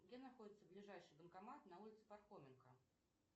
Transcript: где находится ближайший банкомат на улице пархоменко